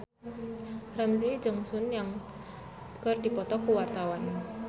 Ramzy jeung Sun Yang keur dipoto ku wartawan